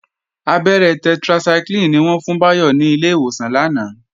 Abẹ́rẹ́ tetracycline ni wọ́n fún Báyọ̀ ní ilé ìwòsàn lánàá